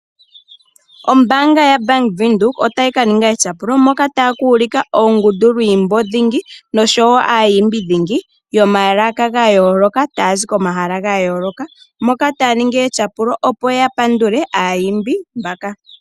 Ombaanga yaBank Windhoek otaaka ninga etyapulo moka taakuulika oondundulwiimbo dhingi noshowo aayimbi dhingi yomalaka gayooloka tayazi komahala gayooloka, moka taaningi etyapulo opo yapandule aayimbi mbaka.